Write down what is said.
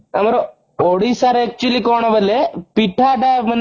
ଆମର ଓଡିଶା ରେ actually କଣ ବୋଇଲେ ପିଠା ତା ମାନେ